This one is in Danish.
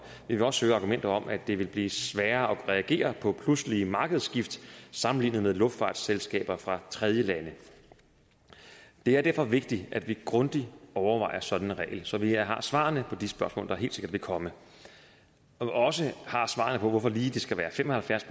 vi vil også høre argumentet om at det vil blive sværere at reagere på pludselige markedsskift sammenlignet med luftfartsselskaber fra tredjelande det er derfor vigtigt at vi grundigt overvejer sådan en regel så vi har svarene på de spørgsmål der helt sikkert vil komme og også har svarene på hvorfor det lige skal være fem og halvfjerds